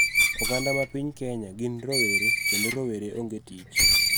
Oganda ma piny Kenya gin rowere, kendo rowere onge tich